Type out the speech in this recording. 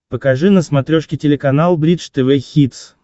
покажи на смотрешке телеканал бридж тв хитс